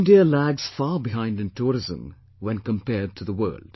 India lags far behind in tourism when compared to the world